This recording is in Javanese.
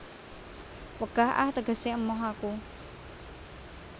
Wegah ah tegese emoh aku